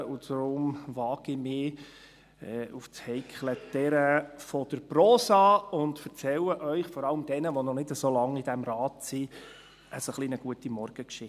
Darum wage ich mich auf das heikle Terrain der Prosa und erzähle Ihnen, vor allem denjenigen, die noch nicht so lange in diesem Rat sind, eine Gutenmorgengeschichte.